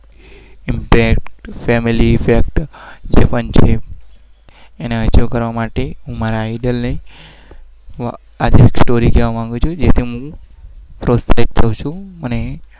Family pack એ પણ છે.